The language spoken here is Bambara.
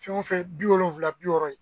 Fɛn o fɛn bi wolonfilala bi wɔɔrɔ ye.